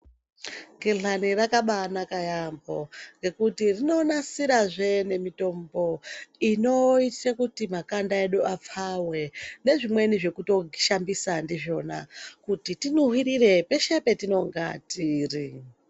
Gehlani rakabanaka yambo ngekuti inonasira he mitombo inoita kuti makanda edu apfawe nezvimweni zvekushambisa ndizvona kuti tinhuwirire peshe patinenge tiri.